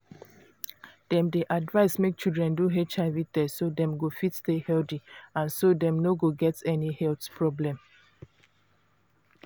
dem dey advise make children do hiv test so dem go fit stay healthy and so dem no go get any health problem